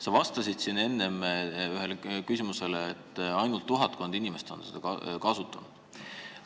Sa vastasid siin enne ühele küsimusele, et ainult tuhatkond inimest on seda kasutanud.